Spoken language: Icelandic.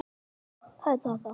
Alls eru þetta sjö félög.